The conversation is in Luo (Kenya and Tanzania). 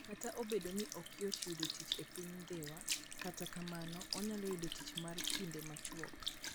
Kata obedo ni ok yot yudo tich e piny Dhiwa, kata kamano, onyalo yudo tich mar kinde machuok.